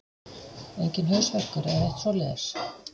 Enginn hausverkur eða neitt svoleiðis?